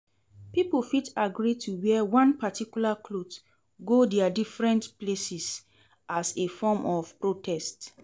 Pipo fit agree to wear one particular cloth go their differents places as a form of protest